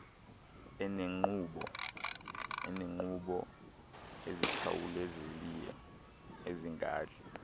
eneenkqubo ezikhawulezileyo ezingadli